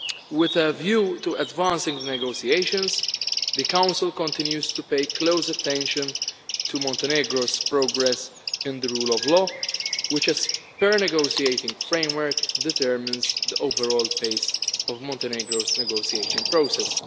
With a view to advancing negotiations, the Council continues to pay close attention to Montenegro's progress in the rule of law, which, as per the negotiating framework, determines the overall pace of Montenegro's negotiation process.